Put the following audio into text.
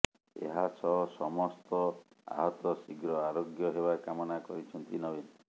ଏହାସହ ସମସ୍ତ ଆହତ ଶୀଘ୍ର ଆରୋଗ୍ୟ ହେବା କାମନା କରିଛନ୍ତି ନବୀନ